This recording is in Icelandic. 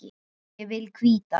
Ég vil hvíta.